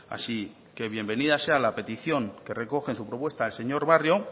así que bienvenida sea la petición que recoge en su propuesta el señor barrio